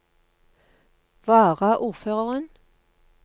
varaordføreren